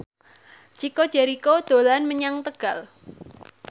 Chico Jericho dolan menyang Tegal